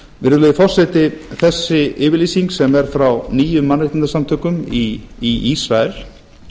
virðulegi forseti þessi yfirlýsing sem er frá níu mannréttindasamtökum í ísrael